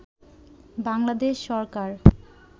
Bangladesh Sarkar